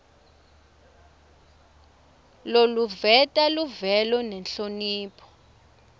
loluveta luvelo nenhlonipho